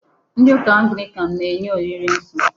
Ndị ụka Anglican na-enye olili nsọ.